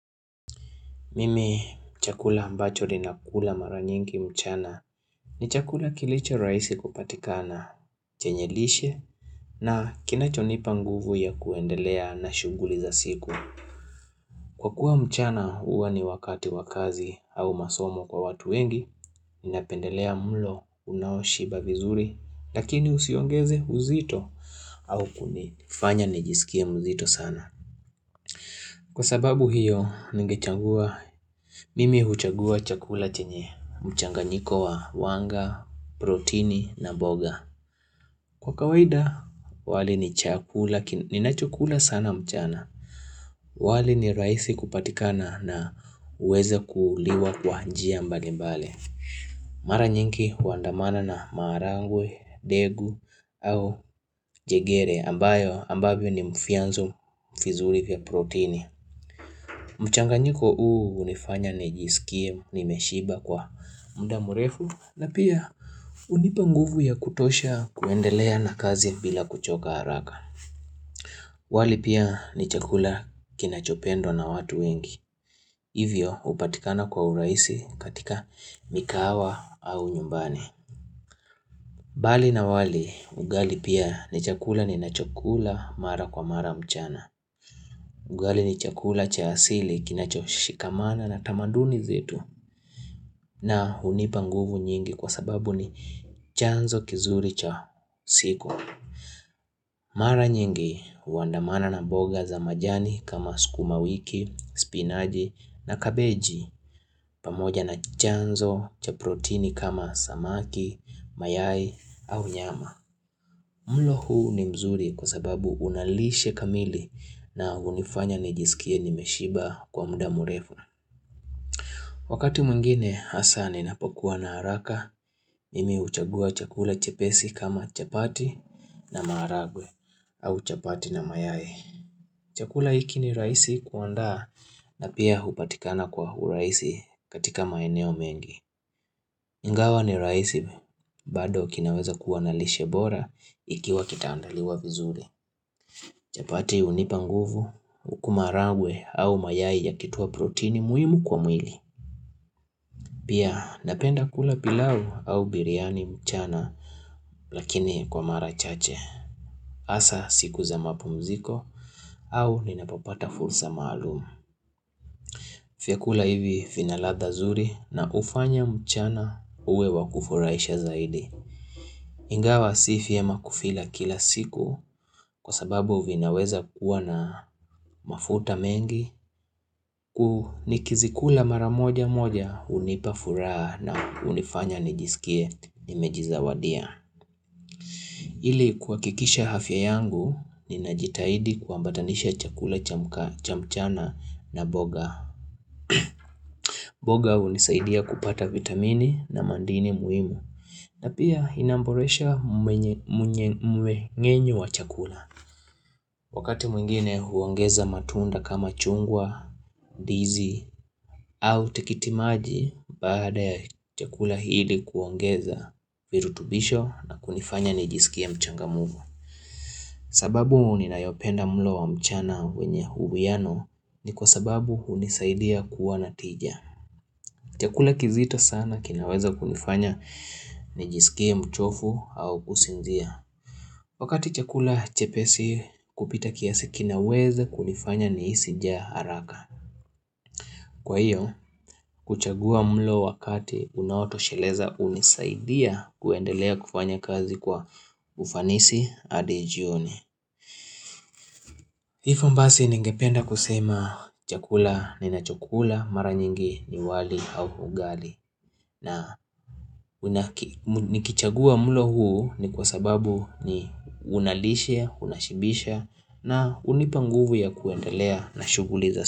Mimi chakula mbacho ninakula mara nyinki mchana ni chakula kilichorahisi kupatikana chenye lishe na kinachonipa nguvu ya kuendelea na shughuli za siku. Kwa kuwa mchana huwa ni wakati wakazi au masomo kwa watu wengi, ninapendelea mulo unaoshiba vizuri, lakini usiongeze uzito au kunifanya nijisikie mzito sana. Kwa sababu hiyo ningechangua mimi huchagua chakula chenye mchanganyiko wa wanga, protini na mboga. Kwa kawaida wali ni chakula, ninacho kula sana mchana. Wali ni rahisi kupatikana na uwezakuliwa kwa njia mbali mbali. Mara nyinki huandamana na marangwe, degu au jegere ambayo ambavyo ni mfianzo vizuri vya protini. Mchanganyiko huu unifanya nijisikie nimeshiba kwa muda mrefu na pia unipa nguvu ya kutosha kuendelea na kazi bila kuchoka haraka wali pia ni chakula kinachopendwa na watu wengi, hivyo hupatikana kwa urahisi katika mikahawa au nyumbani Bali na wali ugali pia ni chakula ni nachokula mara kwa mara mchana Ugali ni chakula cha asili kinacho shikamana na tamaduni zetu na hunipa nguvu nyingi kwa sababu ni chanzo kizuri cha siku. Mara nyingi huandamana na boga za majani kama sukuma wiki, spinaji na kabeji pamoja na chanzo cha protini kama samaki, mayai au nyama. Mlo huu ni mzuri kwa sababu unalishe kamili na hunifanya nijisikie nimeshiba kwa muda murefu. Wakati mwingine hasa ninapokua na haraka, nimi huchagua chakula chepesi kama chapati na maragwe au chapati na mayai. Chakula hiki ni rahisi kuanda na pia hupatikana kwa urahisi katika maeneo mengi. Ingawa ni rahisi, bado kinaweza kuwa na lishe bora ikiwa kitaandaliwa vizuri. Chapati hunipa nguvu, uku marangwe au mayai yakitowa protini muhimu kwa mwili. Pia napenda kula pilau au biriani mchana lakini kwa mara chache. Asa siku za mapumziko au ninapopata fursa maalum. Fyakula hivi vinaladha zuri na ufanya mchana uwe wakufurahisha zaidi. Ingawa si fiema kufila kila siku kwa sababu vinaweza kuwa na mafuta mengi kuhu nikizikula mara moja moja unipafuraha na unifanya nijisikie nimejizawadia. Ili kuakikisha afya yangu ninajitahidi kuambatanisha chakula cha mchana na boga. Boga unisaidia kupata vitamini na mandini muimu na pia inamboresha mwenye mwenye mweng'enyo wa chakula Wakati mwingine huongeza matunda kama chungwa, dizi au tikiti maji, baada ya chakula hili kuongeza virutubisho na kunifanya nijisikie mchangamvu sababu ninayopenda mlo wa mchana wenye huwiano ni kwa sababu hunisaidia kuwa natija Chakula kizito sana kinaweza kunifanya ni jisikie mchofu au kusinzia. Wakati chakula chepesi kupita kiasi kinaweza kunifanya nihisi jaa haraka. Kwa hiyo kuchagua mlo wakati unaotosheleza unisaidia kuendelea kufanya kazi kwa ufanisi adi jioni. Hifo mbasi ningependa kusema chakula ni na chakula mara nyingi ni wali au ugali. Na nikichagua mulo huu ni kwa sababu ni unalishe, unashibisha na unipa nguvu ya kuendelea na shughuli za.